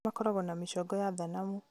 Angĩ makoragwo na mĩcongo ya thanamu